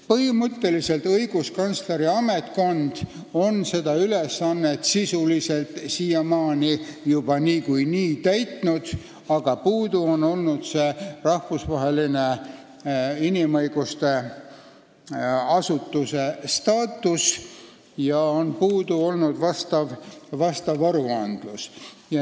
Põhimõtteliselt on õiguskantsleri ametkond seda ülesannet siiamaani sisuliselt juba niikuinii täitnud, aga puudu on olnud rahvusvaheline inimõiguste asutuse staatus ja puudu on olnud vastav aruandlus.